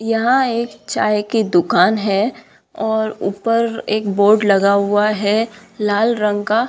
यहाँ एक चाय की दुकान है और ऊपर एक बोर्ड लगा हुआ है लाल रंग का।